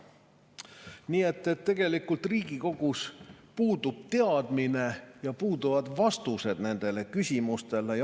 Nii et tegelikult Riigikogus puudub teadmine ja puuduvad vastused nendele küsimustele.